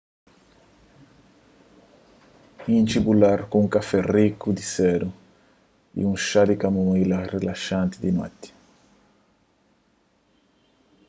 intxi bu lar ku un kafé riku di sedu y un xá di kamomila rilaxanti di noti